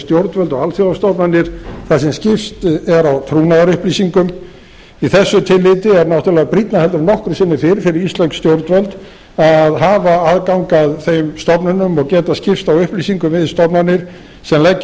stjórnvöld og alþjóðastofnanir þar sem skipst verði á trúnaðarupplýsingum í þessu tilliti er náttúrlega brýnna heldur en nokkru sinni fyrr fyrir íslensk stjórnvöld að hafa aðgang að þeim stofnunum og geta skipst á upplýsingum við stofnanir sem leggja